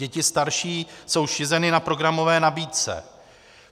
Děti starší jsou šizeny na programové nabídce.